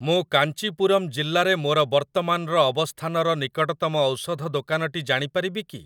ମୁଁ କାଞ୍ଚିପୁରମ୍ ଜିଲ୍ଲାରେ ମୋର ବର୍ତ୍ତମାନର ଅବସ୍ଥାନର ନିକଟତମ ଔଷଧ ଦୋକାନଟି ଜାଣିପାରିବି କି?